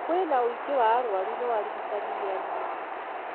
Kwĩna ũingĩ wa arwaru, no arigitani nĩ anini